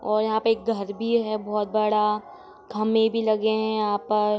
और यहाँ पे एक घर भी है बहुत बड़ा खम्भे भी लगे है यहाँ पर।